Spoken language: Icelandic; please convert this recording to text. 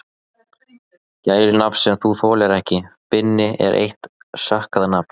Gælunafn sem þú þolir ekki: Binni er eitt sökkað nafn